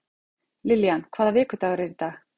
Lillian, hvaða vikudagur er í dag?